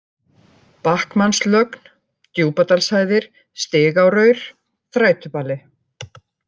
Bachmannslögn, Djúpadalshæðir, Stigáraur, Þrætubali